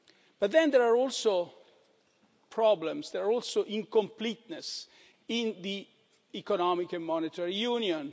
But then there are also problems, also incompleteness in the Economic and Monetary Union.